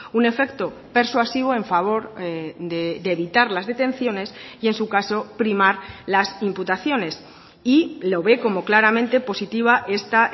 un efecto persuasivo en favor de evitar las detenciones y en su caso primar las imputaciones y lo ve como claramente positiva esta